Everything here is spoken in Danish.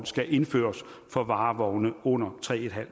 skal indføres for varevogne under tre en halv